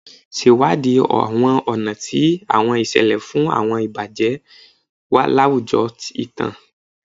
Ṣewadii àwọn ọ̀nà ti àwọn ìṣẹ̀lẹ̀ fún àwọn ìbàjẹ́ láwùjọ ìtàn.